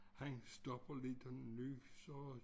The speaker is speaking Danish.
Han stopper lidt og nyser og